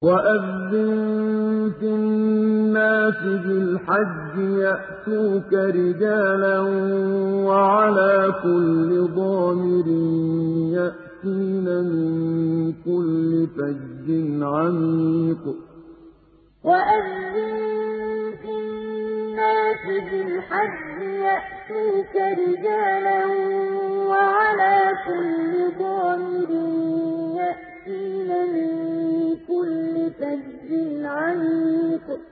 وَأَذِّن فِي النَّاسِ بِالْحَجِّ يَأْتُوكَ رِجَالًا وَعَلَىٰ كُلِّ ضَامِرٍ يَأْتِينَ مِن كُلِّ فَجٍّ عَمِيقٍ وَأَذِّن فِي النَّاسِ بِالْحَجِّ يَأْتُوكَ رِجَالًا وَعَلَىٰ كُلِّ ضَامِرٍ يَأْتِينَ مِن كُلِّ فَجٍّ عَمِيقٍ